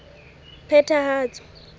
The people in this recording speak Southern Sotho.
phethahatso